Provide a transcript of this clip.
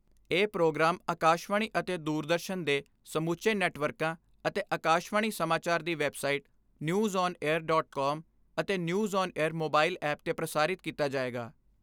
ਇਹ ਪ੍ਰੋਗਰਾਮ ਆਕਾਸ਼ਵਾਣੀ ਅਤੇ ਦੁਰਦਰਸ਼ਨ ਦੇ ਸਮੁੱਚੇ ਨੈੱਟਵਰਕਾਂ ਅਤੇ ਆਕਾਸ਼ਵਾਣੀ ਸਮਾਚਾਰ ਦੀ ਵੈਬਸਾਈਟ Newsonair.com ਅਤੇ Newsonair ਮੋਬਾਈਲ ਐਪ 'ਤੇ ਪ੍ਰਸਾਰਿਤ ਕੀਤਾ ਜਾਏਗਾ।